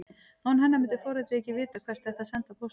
Án hennar myndi forritið ekki vita hvert ætti að senda póstinn.